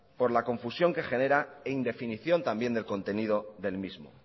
por la confusión que genera e indefinición también del contenido del mismo